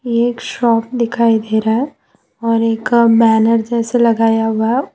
ये एक शॉप दिखाई दे रहा है और एक बैनर जैसा लगाया हुआ--